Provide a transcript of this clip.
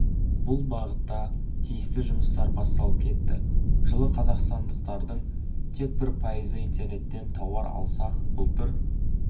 бұл бағытта тиісті жұмыстар басталып кетті жылы қазақстандықтардың тек бір пайызы интернеттен тауар алса былтыр